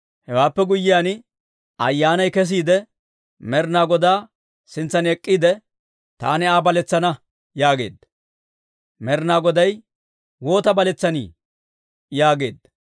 Hewaappe guyyiyaan, ayyaanay kesiide Med'inaa Godaa sintsan ek'k'iide, ‹Taani Aa baletsana› yaageedda.» Med'inaa Goday, «Waata baletsani?» yaageedda.